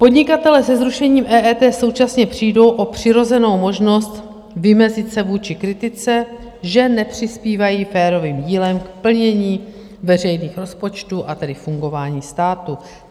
Podnikatelé se zrušením EET současně přijdou o přirozenou možnost vymezit se vůči kritice, že nepřispívají férovým dílem k plnění veřejných rozpočtů, a tedy fungování státu.